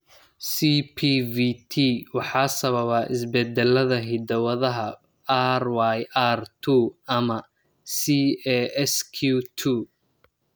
CPVT waxaa sababa isbeddellada hidda-wadaha RYR two ama CASQ two.